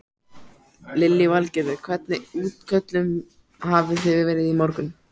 Lillý Valgerður: Hvernig útköllum hafi þið verið í morgun?